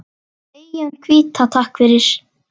Eyjan hvíta, takk fyrir.